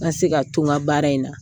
N ka se ka to n ka baara in na.